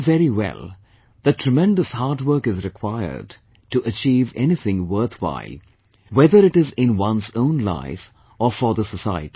We know very well, that tremendous hard work is required to achieve anything worthwhile, whether it is in one's own life or for the society